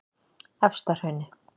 Efstahrauni